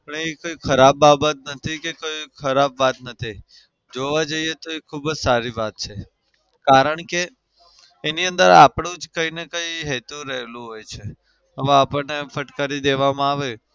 પણ એ કઈ ખરાબ બાબત નથી કે કોઈ ખરાબ વાત નથી. જોવા જઈએ તો એ ખુબ જ સારી બાબત છે કારણ કે એની અંદર આપડું જ કઈ ને કઈ હેતુ રહેલું હોય છે. હવે આપડને ફટકારી દેવામાં આવે